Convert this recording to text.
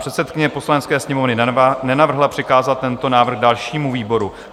Předsedkyně Poslanecké sněmovny nenavrhla přikázat tento návrh dalšímu výboru.